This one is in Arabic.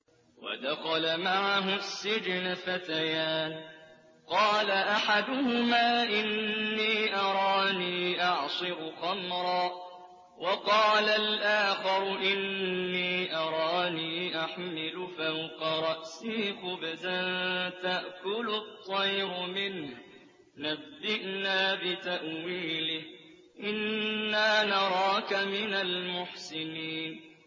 وَدَخَلَ مَعَهُ السِّجْنَ فَتَيَانِ ۖ قَالَ أَحَدُهُمَا إِنِّي أَرَانِي أَعْصِرُ خَمْرًا ۖ وَقَالَ الْآخَرُ إِنِّي أَرَانِي أَحْمِلُ فَوْقَ رَأْسِي خُبْزًا تَأْكُلُ الطَّيْرُ مِنْهُ ۖ نَبِّئْنَا بِتَأْوِيلِهِ ۖ إِنَّا نَرَاكَ مِنَ الْمُحْسِنِينَ